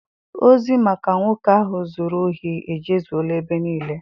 Ozi maka nwoke ahụ zụrụ ohi ejezuela ebe niile.